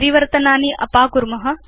परिवर्तनानि अपाकुर्म